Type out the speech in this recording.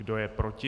Kdo je proti?